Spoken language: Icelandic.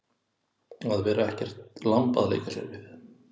Að vera ekkert lamb að leika sér við